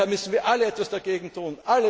Daher müssen wir alle etwas dagegen